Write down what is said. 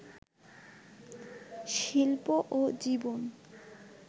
শিল্প ও জীবন